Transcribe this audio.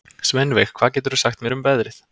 Sveinveig, hvað geturðu sagt mér um veðrið?